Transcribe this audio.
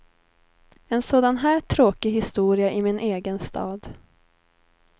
En sådan här tråkig historia i min egen stad.